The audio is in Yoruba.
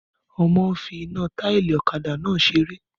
Ọmọ n fi iná táìlì ọ̀kadà náà seré